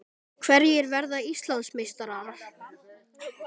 Hverjir verða Íslandsmeistarar?